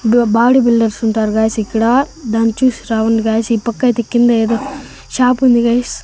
Body builders ఉంటారు guys ఇక్కడ దాన్ని చూసి గాయ్స్ ఈ పక్క అయితే కింద ఏదో షాపు ఉంది గాయ్స్ .